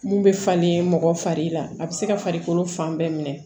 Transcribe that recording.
Mun bɛ falen mɔgɔ fari la a bɛ se ka farikolo fan bɛɛ minɛ